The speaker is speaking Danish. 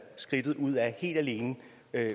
skridtet ud af det helt alene